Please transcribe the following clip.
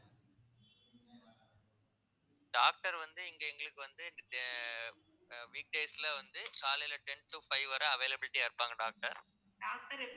doctor வந்து இங்க எங்களுக்கு வந்து ஆஹ் அஹ் week days ல வந்து காலையில ten to five வரை availability ஆ இருப்பாங்க doctor